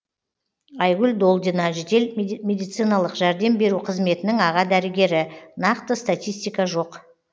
айгүл долдина жедел медициналық жәрдем беру қызметінің аға дәрігері нақты статистика жоқ